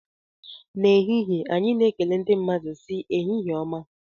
N'ehihie anyị na-ekele ndị mmadụ sị "ehihie ọma"